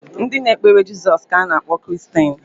Ndị na-ekpere jesus ka a na akpọ Kiristeni